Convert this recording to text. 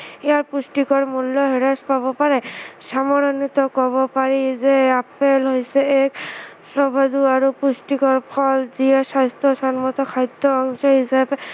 ইয়াৰ পুষ্টিকৰ মূল্য় হ্ৰাস পাব পাৰে, সামৰণিতো কব পাৰি যে আপেল হৈছে এক সুস্ৱাদু আৰু পুষ্টিকৰ ফল যিয়ে স্ৱাস্থ্য়সন্মত খাদ্য়ৰ অংশ হিচাপে